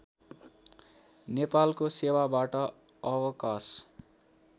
नेपालको सेवाबाट अवकाश